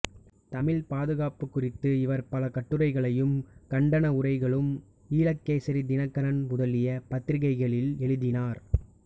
தமிழ்ப் பாதுகாப்புக் குறித்து இவர் பல கட்டுரைகளையும் கண்டனவுரைகளும் ஈழகேசரி தினகரன் முதலிய பத்திரிகைகளில் எழுதினார்